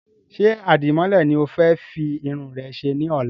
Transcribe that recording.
Ṣé Àdìmọ́lẹ̀ ni o fẹ́ fi Irun rẹ ṣe ní ọ̀la?